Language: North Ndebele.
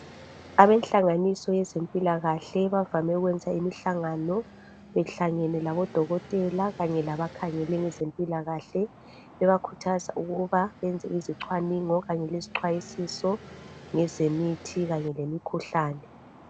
Abenhlanganiso yezempilakahle bavame ukwenza imihlangano behlangene labodokotela kanye labakhangele ngezempilakahle bebakhuthaza ukuba benze izixhwaningo leziyixwayisiso ngezemithi kanye lemikhuhlane.